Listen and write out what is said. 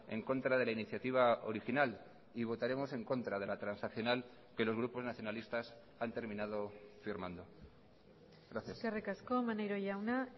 en contra de la iniciativa original y votaremos en contra de la transaccional que los grupos nacionalistas han terminado firmando gracias eskerrik asko maneiro jauna